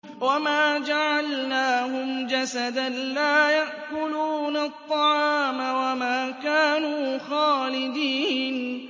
وَمَا جَعَلْنَاهُمْ جَسَدًا لَّا يَأْكُلُونَ الطَّعَامَ وَمَا كَانُوا خَالِدِينَ